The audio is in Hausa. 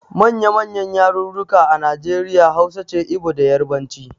Manya manyan yarurruka a Nijeriya Hausa ce, Ibo da yarbanci